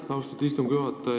Aitäh, austatud istungi juhataja!